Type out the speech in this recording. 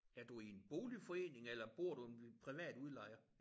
Er du i en boligforening eller bor du ved en privat udlejer?